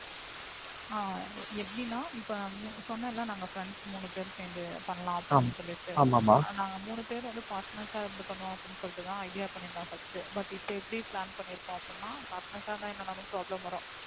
ஆ எப்படின்னா, இப்ப நான் சொன்னேன்ல நாங்க friends நாங்க முணு பேர் சேர்ந்து பண்ணானம்லுன்னு. நாங்க மூனு பேர்வந்து partners ஆ சேர்ந்து idea பண்ணிருந்தோம் firstbut இப்ப எப்படி plan பண்ணியிருக்கிறோம்னா partners ஆ இருந்தா எப்டினாலும் problem வரும்